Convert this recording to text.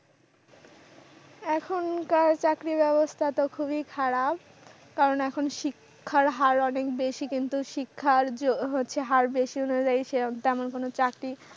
এখনকার চাকরির ব্যবস্থা তো খুবই খারাপ। কারণ এখন শিক্ষার হার অনেক বেশি। কিন্তু শিক্ষার্য হচ্ছে হার বেশি হলেও তেমন কোন চাকরি